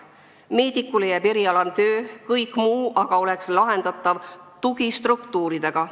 Meedikule jääb erialane töö, kõik muu aga oleks lahendatav tugistruktuuridega.